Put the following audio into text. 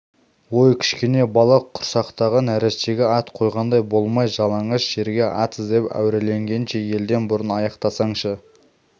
ой кішкене бала құрсақтағы нәрестеге ат қойғандай болмай жалаңаш жерге ат іздеп әуреленгенше елден бұрын аяқтансаңшы